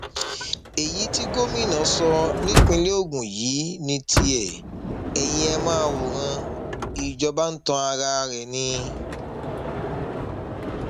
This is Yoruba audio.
èyí tí gómìnà sọ nípìnlẹ ogun yìí ní tiẹ eyín ẹ máa wòran ìjọba ń tan ara ẹ ni